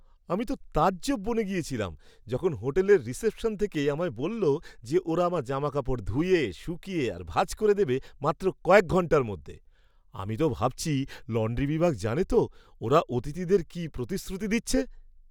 আমি তো তাজ্জব বনে গেছিলাম যখন হোটেলের রিসেপশন থেকে আমায় বলল যে ওরা আমার জামাকাপড় ধুয়ে, শুকিয়ে আর ভাঁজ করে দেবে মাত্র কয়েক ঘণ্টার মধ্যে! আমি তো ভাবছি লন্ড্রি বিভাগ জানে তো ওরা অতিথিদের কী প্রতিশ্রুতি দিচ্ছে!